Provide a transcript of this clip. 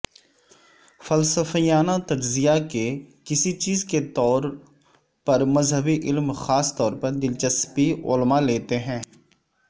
فلسفیانہ تجزیہ کے کسی چیز کے طور مذہبی علم خاص طور پر دلچسپی علماء ہیں